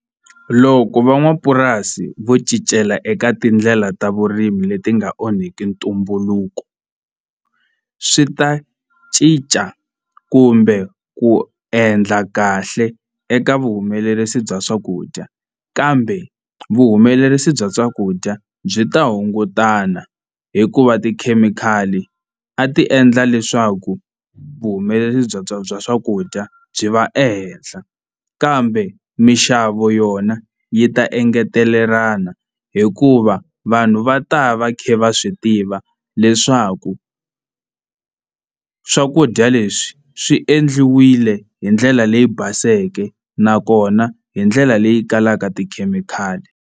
Loko van'wapurasi vo cincela eka tindlela ta vurimi leti nga onhiki ntumbuluko swi ta cinca kumbe ku endla kahle eka vuhumelerisi bya swakudya kambe vuhumelerisi bya swakudya byi ta hungutana hikuva tikhemikhali a ti endla leswaku vuhumelerisi bya bya bya swakudya byi va ehenhla kambe mixavo yona yi ta engetelelana hikuva vanhu va ta va va kha va swi tiva leswaku swakudya leswi swi endliwile hi ndlela leyi baseke nakona hi ndlela leyi kalaka tikhemikhali.